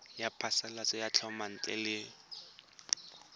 ya phasalatso ya thomelontle le